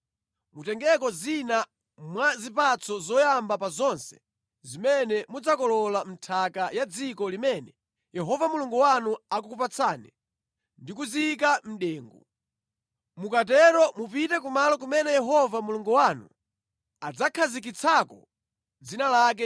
mutengeko zina mwa zipatso zoyamba pa zonse zimene mudzakola mʼnthaka ya dziko limene Yehova Mulungu wanu akukupatsani ndi kuziyika mʼdengu. Mukatero mupite kumalo kumene Yehova Mulungu wanu adzakhazikitsako dzina lake